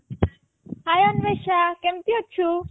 hiଅନ୍ଵେସା କେମିତି ଅଛୁ